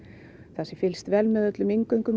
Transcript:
það sé fylgst sé vel með öllum inngöngum